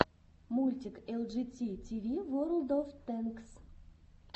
мультик элджити тиви ворлд оф тэнкс